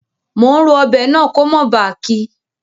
Mo n ro ọbẹ̀ náà ko mó ba kí